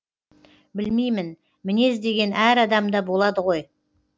білмеймін мінез деген әр адамда болады ғой